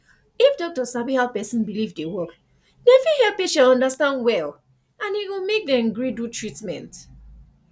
if doctor sabi how person believe dey work dem fit help patient understand well and e go make dem gree do treatment